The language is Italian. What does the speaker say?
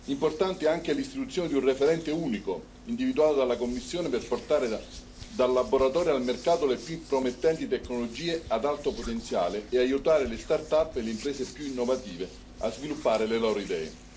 Importante anche l'istituzione di un referente unico individuato dalla Commissione per portare dal laboratorio al mercato le più promettenti tecnologie ad alto potenziale e aiutare le start up e le imprese più innovative a sviluppare le loro idee.